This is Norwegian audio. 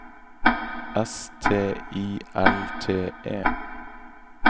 S T I L T E